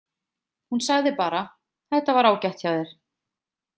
Hún sagði bara: Þetta var ágætt hjá þér.